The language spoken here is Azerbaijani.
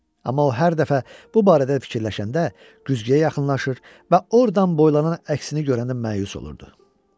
Amma o hər dəfə bu barədə fikirləşəndə güzgüyə yaxınlaşırdı və ordan boylanan əksini görəndə məyus olurdu.